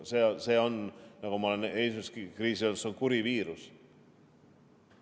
See on kuri viirus.